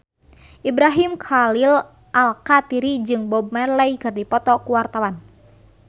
Ibrahim Khalil Alkatiri jeung Bob Marley keur dipoto ku wartawan